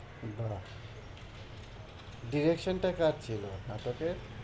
না direction টা কার ছিলো নাটকের?